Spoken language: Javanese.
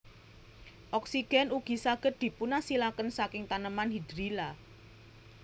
Oksigèn ugi saged dipunasilaken saking taneman hidrilla